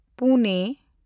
Pune